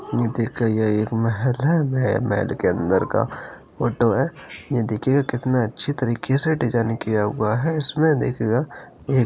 ये देखे ये एक महल है महल के अंदर का फोटो है ये देखिए कितने अच्छे तरीके से डिज़ाइन किया हुआ है इसमे देखिएगा--